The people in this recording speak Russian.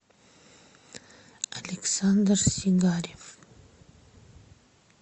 александр сигарев